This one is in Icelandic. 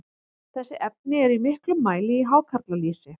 þessi efni eru í miklum mæli í hákarlalýsi